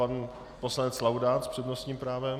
Pan poslanec Laudát s přednostním právem.